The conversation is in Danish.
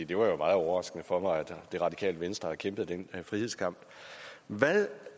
det var jo meget overraskende for mig at det radikale venstre har kæmpet den her frihedskamp hvad